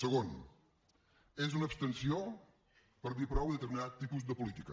segon és una abstenció per dir prou a determinat tipus de política